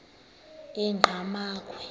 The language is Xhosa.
engqamakhwe